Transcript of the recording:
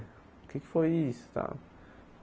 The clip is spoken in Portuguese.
O que é que foi isso, tal?